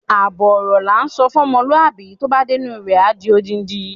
Àbọ̀ ọ̀rọ̀ ni à ń sọ fún ọmọlúàbí tó bá dénú rẹ̀ a di odidi.